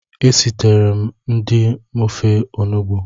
Esiteree m di m ofe Onugbu